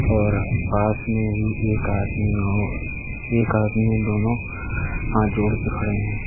और पास में ही एक आदमी और एक आदमी दोनों हाथ जोड़कर खड़े हैं।